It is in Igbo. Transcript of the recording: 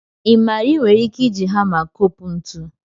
Ị ma na ị nwere ike iji hama kopụ ntu?